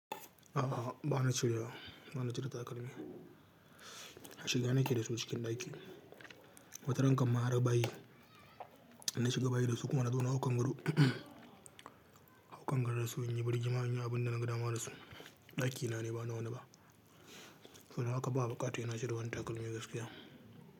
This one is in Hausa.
A'a, ba na cirewa bana cire takalmi. Shiga nake da su cikin ɗaki. Wata ranka ma har bayi, inna shiga bayi da su kuma na zo na hau kan gado. Hau kan gadon dasu in yi birgima in yi abin da naga dama da su. Ɗakina ne, ba na wani ba. Saboda haka ba bukata saina cire wanni takalmi gaskiya.